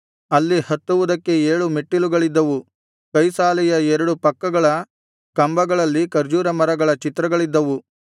ಅಲ್ಲಿ ಹತ್ತುವುದಕ್ಕೆ ಏಳು ಮೆಟ್ಟಿಲುಗಳಿದ್ದವು ಕೈಸಾಲೆಯ ಎರಡು ಪಕ್ಕದ ಕಂಬಗಳಲ್ಲಿ ಖರ್ಜೂರ ಮರಗಳ ಚಿತ್ರಗಳಿದ್ದವು